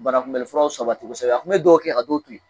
Banakunbɛnlifuraw sabati kosɛbɛ, a tun bɛ dɔw kɛ ka dɔw bin